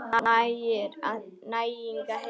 Næring og heilsa.